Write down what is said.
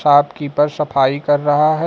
Shopkeeper सफाई कर रहा है।